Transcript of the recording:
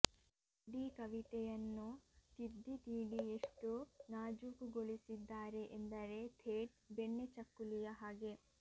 ಇಡೀ ಕವಿತೆಯನ್ನು ತಿದ್ದಿ ತೀಡಿ ಎಷ್ಟು ನಾಜೂಕುಗೊಳಿಸಿದ್ದಾರೆ ಎಂದರೆ ಥೇಟ್ ಬೆಣ್ಣೆ ಚಕ್ಕುಲಿಯ ಹಾಗೆ